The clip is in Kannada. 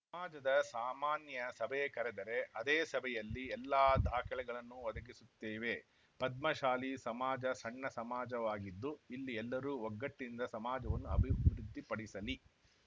ಸಮಾಜದ ಸಾಮಾನ್ಯ ಸಭೆ ಕರೆದರೆ ಅದೇ ಸಭೆಯಲ್ಲಿ ಎಲ್ಲಾ ದಾಖಲೆಗಳನ್ನು ಒದಗಿಸುತ್ತೇವೆ ಪದ್ಮಶಾಲಿ ಸಮಾಜ ಸಣ್ಣ ಸಮಾಜವಾಗಿದ್ದು ಇಲ್ಲಿ ಎಲ್ಲರೂ ಒಗ್ಗಟ್ಟಿನಿಂದ ಸಮಾಜವನ್ನು ಅಭಿವೃದ್ಧಿಪಡಿಸಲಿ